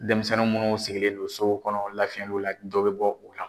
Denmisɛnnin munnu sigilen do sow kɔnɔ lafiyɛliw la dɔ bɛ bɔ u la.